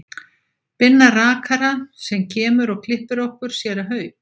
Binna rakara sem kemur og klippir okkur, séra Hauk